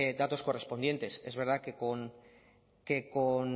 datos correspondientes es verdad que con